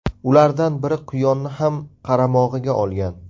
Ulardan biri quyonni ham qaramog‘iga olgan.